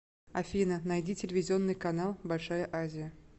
афина найди телевизионный канал большая азия